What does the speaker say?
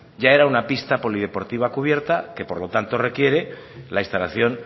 ya era una pista polideportiva cubierta que por lo tanto requiere la instalación